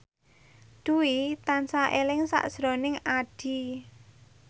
Dwi tansah eling sakjroning Addie